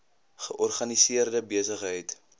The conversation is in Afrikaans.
georganiseerde besig heid